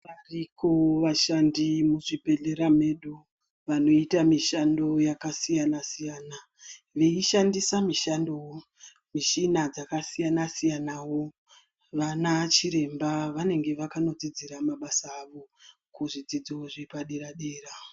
Variko vashandi muzvibhedhlera medu, vanoita mishando yakasiyana-siyana, veishandisa mishando mishina dzakasiyana-siyanawo. Vana chiremba vanenge vakanodzidzira mabasa avo, kuzvidzidzo zvepadera-dera.